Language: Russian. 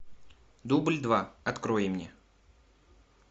дубль два открой мне